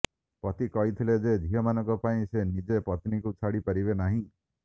ପତି କହିଥିଲେ ଯେ ଝିଅମାନଙ୍କ ପାଇଁ ସେ ନିଜ ପତ୍ନୀଙ୍କୁ ଛାଡି ପାରିବେ ନାହିଁ